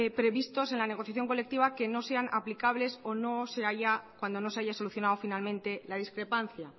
previstos en la negociación colectiva que no sean aplicables o cuando no se haya solucionado finalmente la discrepancia